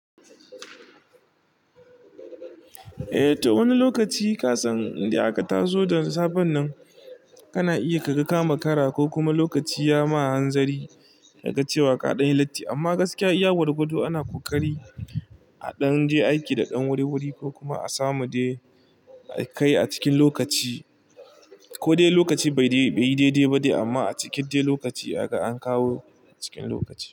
Eh ta wani lokaci kasan da aka tazo da safen nan kana iya ka ga kama kara ko kuma lokaci ya ma hanzari ka ga cewa kaɗan ya latti. Amma gaskiya iya gwargwado ana ƙoƙari a ɗan je aiki da ɗan wuri-wuri ko kuma a samu dai kai a cikin lokaci ko dai lokaci bai yi daidai ba dai amma a cikin dai lokaci aka ankawo cikin lokaci.